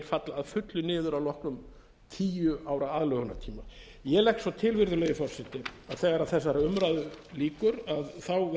falla að fullu niður að loknum tíu ára aðlögunartíma ég legg svo til virðulegi forseti að þegar þessari umræðu lýkur verði